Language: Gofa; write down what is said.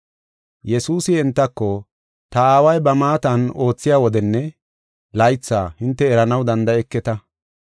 Yesuusi entako, “Ta Aaway ba maatan oothiya wodenne laythi hinte eranaw danda7eketa.